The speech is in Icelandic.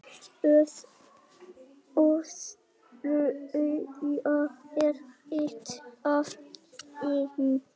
ÓÞREYJA er eitt af þeim.